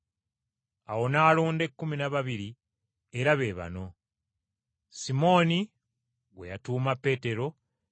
Awo n’alonda ekkumi na babiri era be bano: Simooni, gwe yatuuma “Peetero” ne